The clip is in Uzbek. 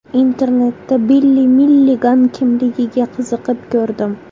Internetda Billi Milligan kimligiga qiziqib ko‘rdim.